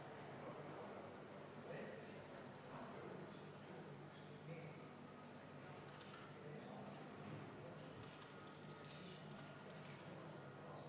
Võib-olla lääne masinate või kaugemalt tulnud masinate puhul on see võimalik, aga Eesti puhul ei ole ju vist võimalik, et see tasu maksmata jääb.